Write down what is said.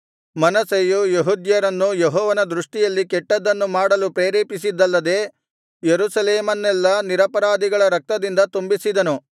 ಮನಸ್ಸೆಯು ಯೆಹೂದ್ಯರನ್ನು ಯೆಹೋವನ ದೃಷ್ಟಿಯಲ್ಲಿ ಕೆಟ್ಟದ್ದನ್ನು ಮಾಡಲು ಪ್ರೇರೇಪಿಸಿದ್ದಲ್ಲದೆ ಯೆರೂಸಲೇಮನ್ನೆಲ್ಲಾ ನಿರಪರಾಧಿಗಳ ರಕ್ತದಿಂದ ತುಂಬಿಸಿದನು